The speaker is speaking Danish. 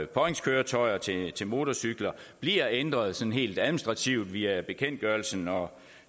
påhængskøretøjer til til motorcykler bliver ændret sådan helt administrativt via bekendtgørelsen og